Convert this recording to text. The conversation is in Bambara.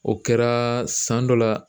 O kɛra san dɔ la.